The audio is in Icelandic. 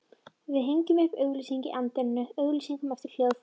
Við hengjum upp auglýsingu í anddyrinu, auglýsum eftir hljóðfæraleikurum.